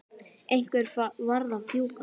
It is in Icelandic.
Einhver varð að fjúka.